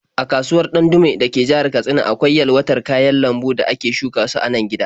A kasuwar Ɗandume da ke jihar Katsina akwai yalwatar kayan lambun da ale shuka su a nan gida.